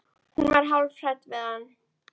Hún var hálf hrædd við hann.